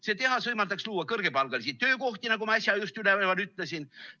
See tehas võimaldaks luua kõrgepalgalisi töökohti, nagu ma äsja just ütlesin.